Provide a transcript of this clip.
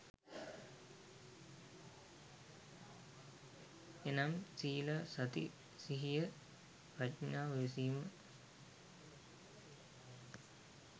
එනම් සීල, සති සිහිය ප්‍රඥාව, ඉවසීම